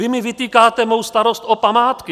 Vy mi vytýkáte mou starost o památky.